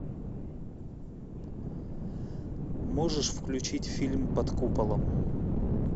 можешь включить фильм под куполом